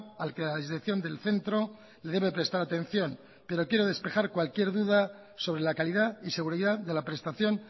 al que la dirección del centro le debe prestar atención pero quiero despejar cualquier duda sobre la calidad y seguridad de la prestación